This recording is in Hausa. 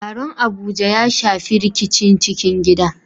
Taron Abuja ya shafi rikicin cikin gida